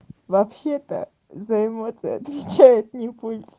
вообще-то за эмоции отвечает не пульс